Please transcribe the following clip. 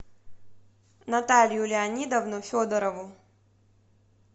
наталью леонидовну федорову